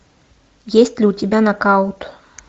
есть ли у тебя нокаут